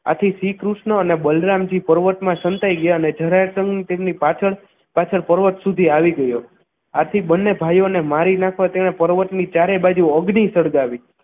આથી શ્રીકૃષ્ણ અને બલરામજી પર્વતમાં સંતાઈ ગયા અને જરાસંઘ તેમની પાછળ પાછળ પર્વત સુધી આવી ગયો આથી બંને ભાઈઓને મારી નાખવા તેને પર્વતની ચારે બાજુ અગ્નિ સળગાવી